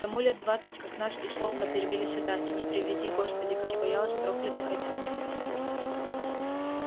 тому лет двадцать как нас из полка перевели сюда и не приведи господи как я боялась проклятых этих нехристей